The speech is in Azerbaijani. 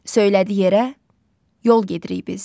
Söylədi yerə: yol gedirik biz.